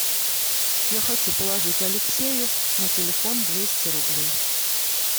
я хочу положить алексею на телефон двести рублей